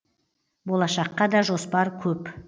болашаққа да жоспар көп